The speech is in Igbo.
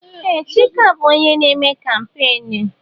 Ee! Chika bụ onye na-eme kampeenụ́.